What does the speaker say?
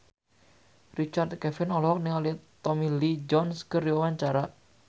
Richard Kevin olohok ningali Tommy Lee Jones keur diwawancara